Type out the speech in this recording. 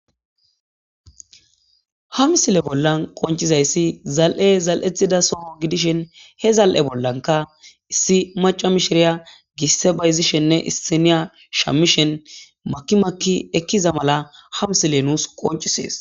hamsile bollan qoncizayssi zal7e zal7ethida soho gidishen he zal7e bollanka issi maca mishiriya gisse bayzishenne issiniya shamishen makimakki ekkiza mala hamsile nuus qoncisees